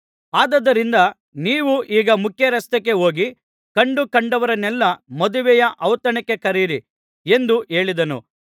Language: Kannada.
ಆದುದರಿಂದ ನೀವು ಈಗ ಮುಖ್ಯರಸ್ತೆಗೆ ಹೋಗಿ ಕಂಡ ಕಂಡವರನ್ನೆಲ್ಲಾ ಮದುವೆಯ ಔತಣಕ್ಕೆ ಕರೆಯಿರಿ ಎಂದು ಹೇಳಿದನು